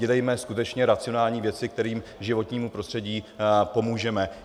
Dělejme skutečně racionální věci, kterými životnímu prostředí pomůžeme.